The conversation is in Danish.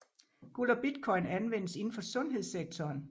Guld og Bitcoin anvendes inden for sundhedssektoren